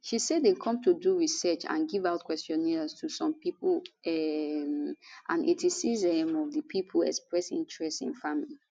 she say dem come do small research and give out questionnaires to some pipo um and 86 um of di pipo express interest in farming